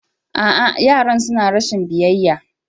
A'a, yaran suna rashin biyayya.